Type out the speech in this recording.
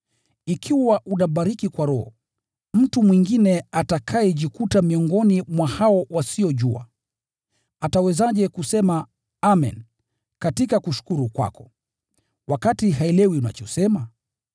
Ikiwa unabariki kwa roho, mtu mwingine atakayejikuta miongoni mwa hao wasiojua, atawezaje kusema “Amen” katika kushukuru kwako, wakati haelewi unachosema?